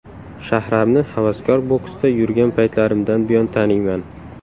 Shahramni havaskor boksda yurgan paytlarimdan buyon taniyman.